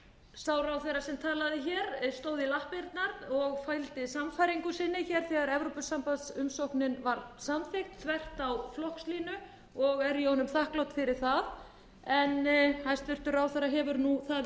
sá ráðherra sem talaði hér stóð í lappirnar og fylgdi sannfæringu sinni hér þegar evrópusambandsumsóknin var samþykkt þvert á flokkslínur og er ég honum þakklát fyrir það en hæstvirtur ráðherra hefur það nú yfir